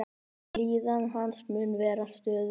Líðan hans mun vera stöðug.